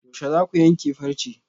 Yaushe zaku yanke farce?